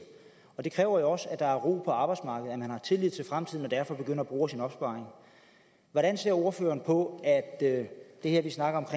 og det kræver jo også at der er ro på arbejdsmarkedet at man har tillid til fremtiden og derfor begynder at bruge af sin opsparing hvordan ser ordføreren på at det her vi snakker